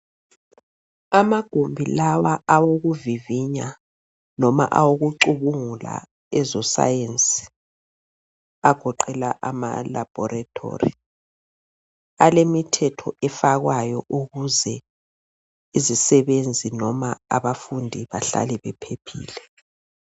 Amagumbi lawa awokuvivinya noma awokucubungula eze science agoqela ama laboratory alemithetho efakwayo ukuze izisebenzi noma abafundi bahlale bephephile.